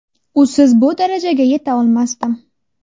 Usiz bu darajaga yeta olmasdim.